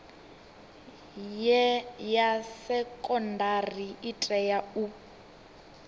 ya sekondari i tea u